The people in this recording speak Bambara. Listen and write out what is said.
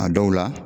A dɔw la